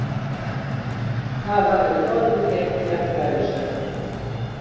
Það hafi brotið gegn jafnræðisreglunni